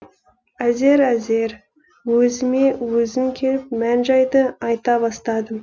әзер әзер өзіме өзім келіп мән жайды айта бастадым